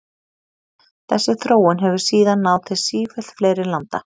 Þessi þróun hefur síðan náð til sífellt fleiri landa.